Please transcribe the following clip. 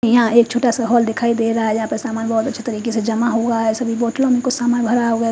यहां एक छोटा सा हॉल दिखाई दे रहा है जहां पे सामान बहुत अच्छे तरीके से जमा हुआ है सभी बोतलों में कुछ सामान भरा हुआ है।